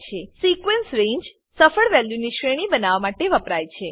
sequence રંગે સફળ વેલ્યુની શ્રેણી બનાવવા માટે વપરાય છે